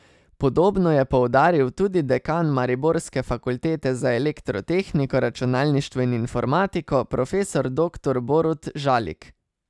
Podobno je poudaril tudi dekan mariborske fakultete za elektrotehniko, računalništvo in informatiko, profesor doktor Borut Žalik.